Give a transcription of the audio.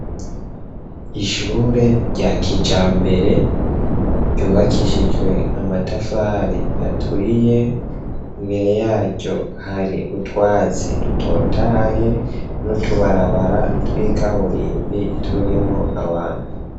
Ishure rya kijambere ryubakishijwe amatafari aturiye, imbere yaryo hari utwatsi dutotahaye n'utubarabara tw'ikaburimbi turimwo abantu.